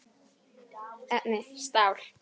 Efni: stál.